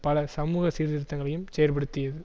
பல சமூக சீர்திருத்தங்களையும் செயற்படுத்தியது